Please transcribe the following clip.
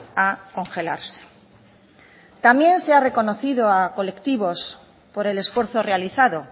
a congelarse también se ha reconocido a colectivos por el esfuerzo realizado